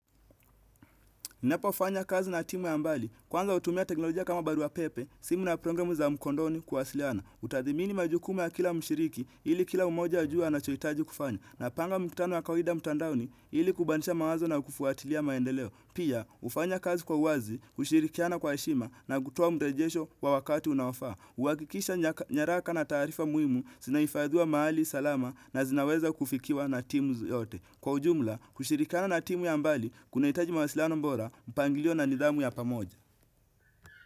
Ninapo fanya kazi na timu ya mbali, kwanga utumia teknolojia kama barua pepe, simu na programu za mkondoni kuwasiliana. Utathimini majukumu ya kila mshiriki, ili kila umoja ajua anacho hitaji kufanya. Na panga mkutano ys kawida mtandaoni, ili kubandisha mawazo na kufuatilia maendeleo. Pia, hufanya kazi kwa uwazi, kushirikiana kwa heshima, na kutoa mdejesho wa wakati unaofaa. Huakikisha nyaraka na taarifa muhimu, zina hifadiwa mahali, salama na zinaweza kufikiwa na timu yote. Kwa ujumla, kushirikana na timu ya mbali, kuna hitaji mwasiliano bora, mpangilio na nidhamu ya pamoja.